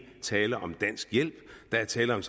er tale om dansk hjælp der er tale om